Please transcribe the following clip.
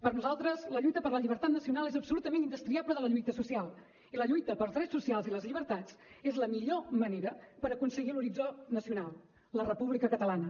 per nosaltres la lluita per la llibertat nacional és absolutament indestriable de la lluita social i la lluita pels drets socials i les llibertats és la millor manera per aconseguir l’horitzó nacional la república catalana